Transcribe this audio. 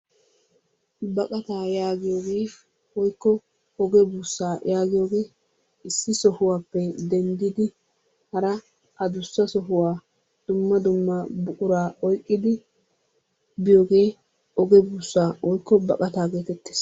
Baqata yaagiyooge woykko oge buussa yaagiyoohe issi sohuwappe denddidi hara addussa sohuwa dumma dumma buqura oyqqidi biyooge oge buussa woykko baqata getettees.